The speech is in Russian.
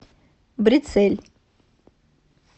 брецель